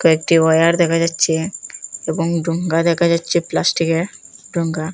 কয়েকটি ওয়ার দেখা যাচ্ছে এবং ডোঙ্গা দেখা যাচ্ছে প্লাস্টিকের ডোঙ্গা।